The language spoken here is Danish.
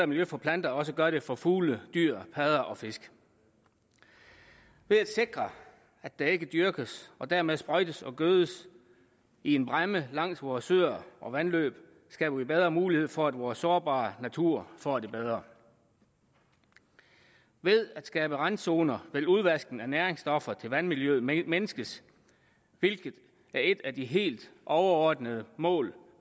miljø for planter også gør det for fugle dyr padder og fisk ved at sikre at der ikke dyrkes og dermed sprøjtes og gødes i en bræmme langs vore søer og vandløb skaber vi bedre mulighed for at vores sårbare natur får det bedre ved at skabe randzoner vil udvaskning af næringsstoffer til vandmiljøet mindskes hvilket er et af de helt overordnede mål